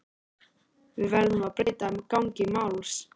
Við verðum að breyta gangi málsins.